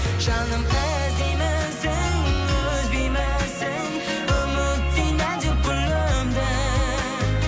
жаным іздеймісің үзбеймісің үміттей нәзік гүліңді